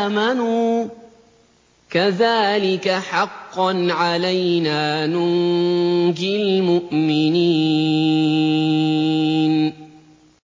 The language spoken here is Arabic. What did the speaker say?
آمَنُوا ۚ كَذَٰلِكَ حَقًّا عَلَيْنَا نُنجِ الْمُؤْمِنِينَ